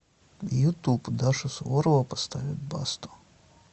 ютуб даша суворова поставит басту